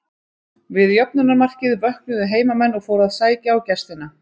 Við jöfnunarmarkið vöknuðu heimamenn og fóru að sækja á gestina.